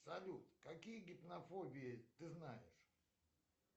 салют какие гипнофобии ты знаешь